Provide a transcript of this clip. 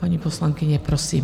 Paní poslankyně, prosím.